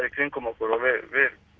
í kringum okkur og við